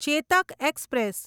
Chetak express